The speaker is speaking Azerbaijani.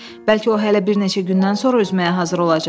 Bəlkə o hələ bir neçə gündən sonra üzməyə hazır olacaq.